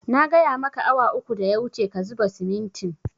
Na gaya maka awa uku da ya wuce ka zuba simintin